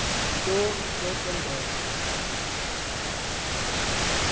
nto ithethwa ngulo